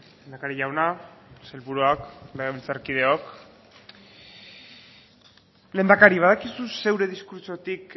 lehendakari jauna sailburuak legebiltzarkideok lehendakari badakizu zeure diskurtsotik